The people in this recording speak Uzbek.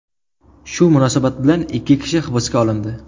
Shu munosabat bilan ikki kishi hibsga olindi.